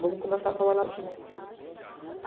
Vamos começar a trabalhar de novo.